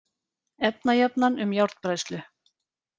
Efnajafnan um járnbræðslu: